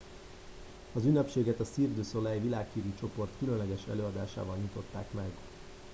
az ünnepséget a cirque du soleil világhírű csoport különleges előadásával nyitották meg